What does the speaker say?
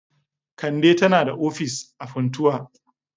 Kande tana da ofis a Funtua.